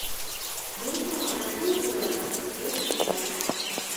книжный магазин блэка третья часть